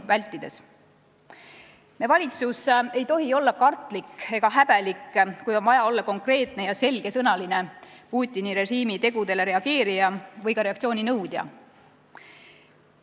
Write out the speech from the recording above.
Meie valitsus ei tohi olla kartlik ega häbelik, kui on vaja olla konkreetne ja selgesõnaline Putini režiimi tegudele reageerija või ka reaktsiooni nõudja.